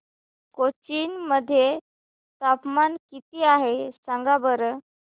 कोचीन मध्ये तापमान किती आहे सांगा बरं